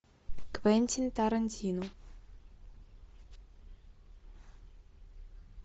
квентин тарантино